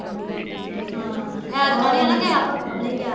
ਹਮ ਏਤਕਾ ਨੀ ਹਨਾ ਗਿਆ ਪਾਪਾ ਵੀ ਨੀ ਗਿਆ